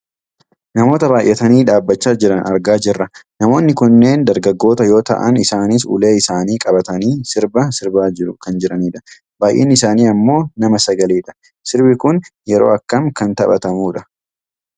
Namoota baayyatanii dhaabbachaa jiran argaa jirra. Namoonni kunneen dargaggoota yoo ta'an isaanis ulee isaanii qabatanii sirba sirbaa kan jiranidha. Baayyinni isaanii ammoo nama sagalidha. Sirbi kun yeroo akkam kan taphatamudha?